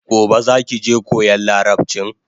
Gobe zaki je koyan larabchin?